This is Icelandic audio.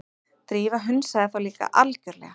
Drífa hunsaði þá líka algjörlega.